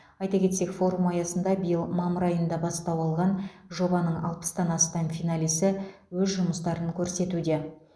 айта кетсек форум аясында биыл мамыр айында бастау алған жобаның алпыстан астам финалисі өз жұмыстарын көрсетуде